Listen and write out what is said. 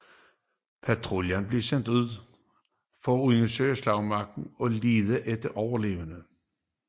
Patruljer blev sendt ud for at undersøge slagmarken og lede efter overlevende